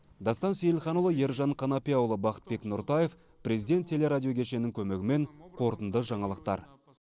дастан сейілханұлы ержан қанапияұлы бақытбек нұртаев президент теле радио кешенінің көмегімен қорытынды жаңалықтар